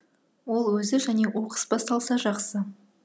ол өзі және оқыс басталса жақсы